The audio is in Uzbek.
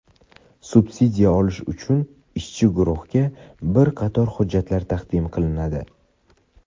Subsidiya olish uchun ishchi guruhga bir qator hujjatlar taqdim qilinadi.